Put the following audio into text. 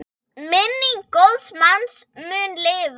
Minning góðs manns mun lifa.